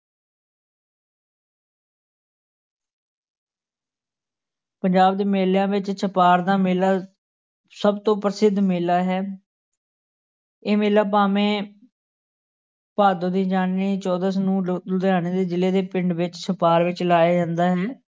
ਪੰਜਾਬ ਦੇ ਮੇਲਿਆਂ ਵਿੱਚ ਛਪਾਰ ਦਾ ਮੇਲਾ ਸਭ ਤੋਂ ਪ੍ਰਸਿੱਧ ਮੇਲਾ ਹੈ ਇਹ ਮੇਲਾ ਭਾਵੇਂ ਭਾਦੋਂ ਦੀ ਚੌਦਸ ਨੂੰ ਲੁ ਲੁੁਧਿਆਣੇ ਦੇ ਜ਼ਿਲੇ ਦੇ ਪਿੰਡ ਵਿੱਚ ਛਪਾਰ ਵਿੱਚ ਲਾਇਆ ਜਾਂਦਾ ਹੈ।